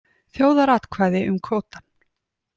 Þjóðaratkvæði um kvótann